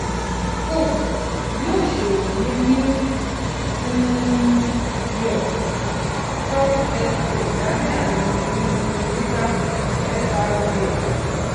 forbes yóò ṣòwò ní new um york stock exchange lábẹ àmì um ticker frbs